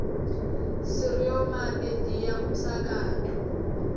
sireoma pediya umsakato